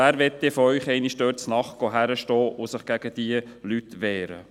Wer von Ihnen möchte sich denn einmal nachts dort hinstellen und sich gegen diese Leute wehren?